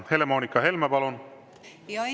Helle-Moonika Helme, palun!